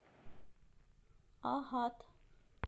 агат